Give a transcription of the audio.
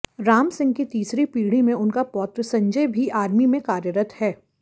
रामसिंह की तीसरी पीढी में उनका पौत्र संजय भी आर्मी में कार्यरत है